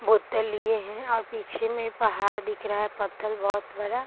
बोतल लिए है और पीछे में पहाड़ दिख रहा है पत्थल बहुत बड़ा।